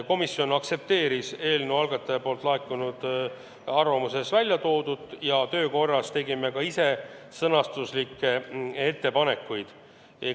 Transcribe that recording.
Komisjon aktsepteeris eelnõu algatajalt laekunud arvamuses väljatoodut ja töö käigus tegime ka ise sõnastuslikke ettepanekuid.